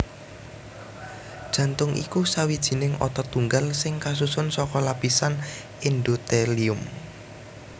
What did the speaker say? Jantung iku sawijining otot tunggal sing kasusun saka lapisan endothelium